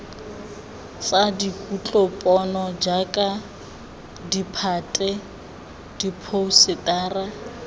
tsa kutlopono jaaka ditphate diphousetara